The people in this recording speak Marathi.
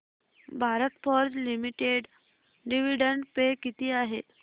भारत फोर्ज लिमिटेड डिविडंड पे किती आहे